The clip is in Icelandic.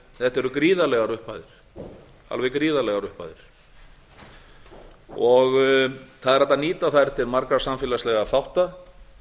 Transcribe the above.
þetta eru gríðarlegar upphæðir alveg gríðarlegar upphæðir það er hægt að nýta þær til margra samfélagslegra þátta